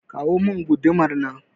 kawo min gudumar nan